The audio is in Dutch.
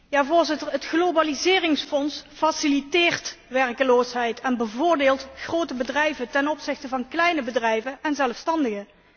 Voorzitter, het globaliseringsfonds faciliteert werkloosheid en bevoordeelt grote bedrijven ten opzichte van kleine bedrijven en zelfstandigen.